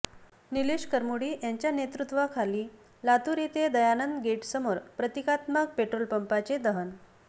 निलेश करमुडी यांच्या नेतृत्वाखाली लातूर येथे दयानंद गेट समोर प्रतिकात्मक पेट्रोल पंपाचे दहन